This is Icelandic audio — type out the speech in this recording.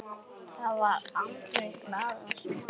Það var andlit glataðs manns.